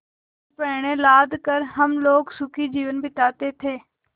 में पण्य लाद कर हम लोग सुखी जीवन बिताते थे